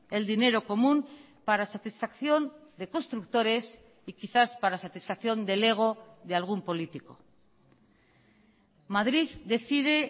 el dinero común para satisfacción de constructores y quizás para satisfacción del ego de algún político madrid decide